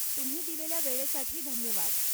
तुम्ही दिलेल्या वेळेसाठी धन्यवाद.